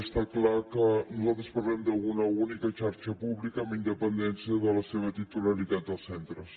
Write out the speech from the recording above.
està clar que nosaltres parlem d’una única xarxa pública amb independència de la seva titularitat dels centres